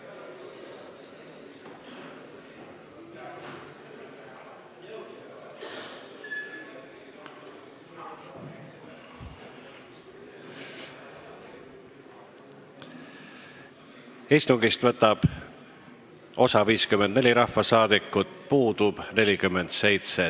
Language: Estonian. Kohaloleku kontroll Istungist võtab osa 54 rahvasaadikut, puudub 47.